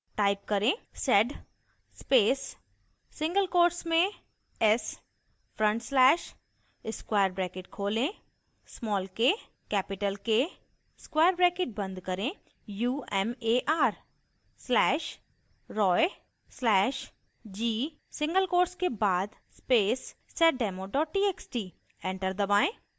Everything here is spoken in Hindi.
type करें: